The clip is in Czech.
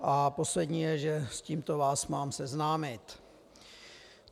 A poslední je, že s tímto vás mám seznámit.